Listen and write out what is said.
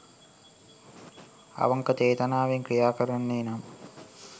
අවංක ‍චේතනාවෙන් ක්‍රියා කරන්නේ නම්